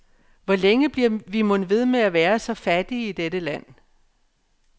Hvor længe bliver vi mon ved med at være så fattige i dette land?